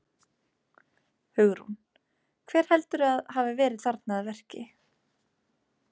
Hugrún: Hver heldurðu að hafi verið þarna að verki?